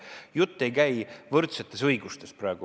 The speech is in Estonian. Jutt ei käi praegu võrdsetest õigustest.